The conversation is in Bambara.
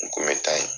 N kun bɛ taa yen